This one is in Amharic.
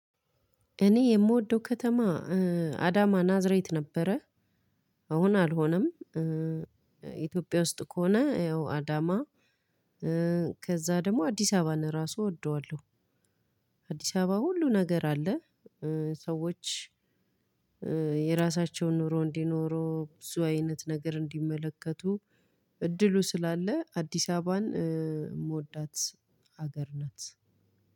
እኔ የምወደው ከተማ አዳማ ናዝሬት ነበረ። አሁን አልሆነም ኢትዮጵያ ውስጥ ከሆነ ያው አዳማ ከዛ ደግሞ አዲስ አበባን ራሱ እወደዋለሁ። አዲስ አበባ ሁሉ ነገር አለ። ሰዎች የራሳቸውን ኑሮ እንዲኖሩ ብዙ አይነት ነገር እንዲመለከቱ እድሉ ስላለ አዲስ አበባን የምወዳት ሀገር ናት።